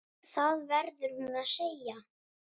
Það verður hún að segja.